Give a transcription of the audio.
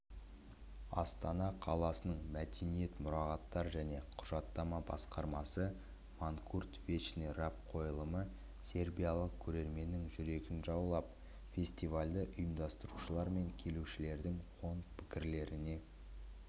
астана қаласының мәдениет мұрағаттар және құжаттама басқармасы манкурт вечный раб қойылымы сербиялық көрерменнің жүрегін жаулап фестивальді ұйымдастырушылар мен келушілердің оң пікірлеріне